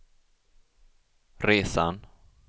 resan